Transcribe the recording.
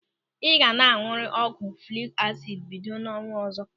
Ị ga na añụrịrị ọgwụ folik asidi bido n'ọnwa ọzọ.